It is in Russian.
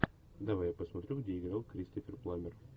давай я посмотрю где играл кристофер пламер